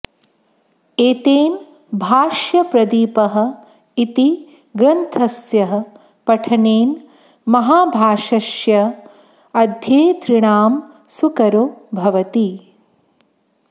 एतेन भाष्यप्रदीपः इति ग्रन्थस्य पठनेन माहाभाष्यस्य अध्येतॄणां सुकरो भवति